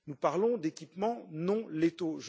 Nous parlons d'équipements non létaux.